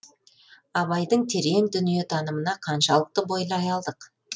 абайдың терең дүниетанымына қаншалықты бойлай алдық